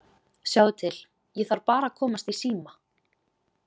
Sjáðu til, ég þarf bara að komast í síma